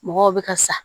Mɔgɔw bɛ ka sa